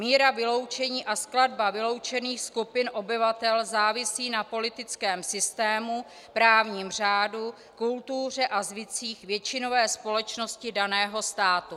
Míra vyloučení a skladba vyloučených skupin obyvatel závisí na politickém systému, právním řádu, kultuře a zvycích většinové společnosti daného státu.